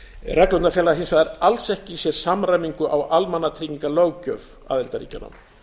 reglurnar fela hins vegar alls ekki í sér samræmingu á almannatryggingalöggjöf aðildarríkjanna